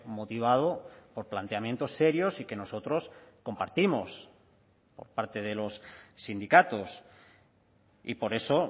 motivado por planteamientos serios y que nosotros compartimos por parte de los sindicatos y por eso